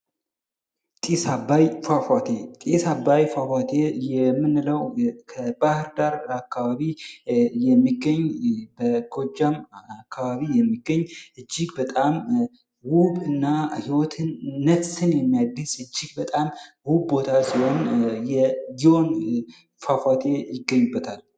የጢስ አባይ ፏፏቴ ጢስ አባይ ፏፏቴ የምንለው ከባህር ዳር አካባቢ የሚገኝ በጎጃም አካባቢ የሚገኝ እጅግ በጣም ውብ እና ህይወትን ነፍስን የሚያድስ እጅግ በጣም ውብ ቦታ ሲሆን ይህ የጊዮን ፏፏቴ ይገኝበታል ::